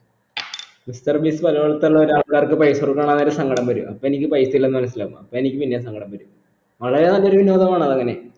mister Beast ഓരോ ആൾക്കാർക്ക് പൈസ കൊടുക്കണ സങ്കടം വരും അപ്പൊ എനിക്ക് പൈസ ഇല്ലന്ന് മനസിലാകും അപ്പോ എനിക്ക് പിന്നേം സങ്കടം വരും വളരെ നല്ലൊരു വിനോദമാണ് അതങ്ങനെ